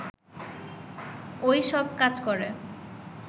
ও-ই সব কাজ করে